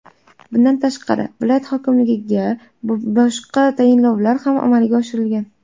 Bundan tashqari, viloyat hokimligida boshqa tayinlovlar ham amalga oshirilgan.